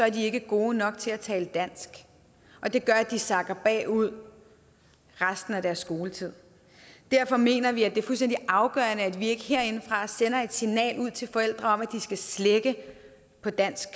ikke er gode nok til at tale dansk og det gør at de sakker bagud resten af deres skoletid derfor mener vi at det er fuldstændig afgørende at vi ikke herindefra sender et signal ud til forældre om at de skal slække på dansk